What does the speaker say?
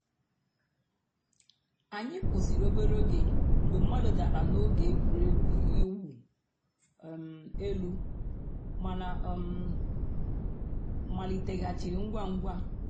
ànyị̀ kwụsìrì òbèrè ògè mgbè mmàdụ̀ dàrā n'ògè ègwè́régwụ̀ ị̀wụ̀ um èlù mánà ọ̀ um màlítèghàchìrì ngwá ngwá.